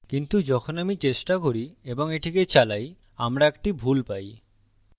কিন্তু যখন আমি চেষ্টা করি এবং এটিকে চালাই আমরা একটি ভুল পাই